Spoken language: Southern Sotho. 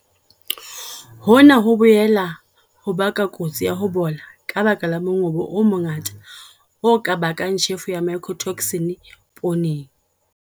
Hona ho boela ho baka kotsi ya ho bola ka baka la mongobo o mongata o ka bakang tjhefo ya mycotoxin pooneng.